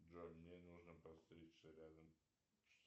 джой мне нужно подстричься рядом